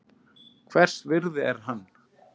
Hvers virði er hann?